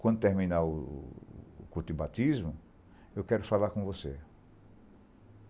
Quando terminar o o o culto batismo, eu quero falar com você.